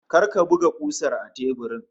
Kar ka buga kusar a teburin!